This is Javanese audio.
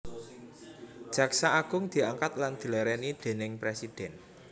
Jaksa Agung diangkat lan dilèrèni déning Presidhèn